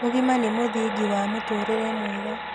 Ũgima nĩ mũthingi wa mũtũrĩre mwega